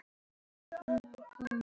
En hann fékkst við fleira.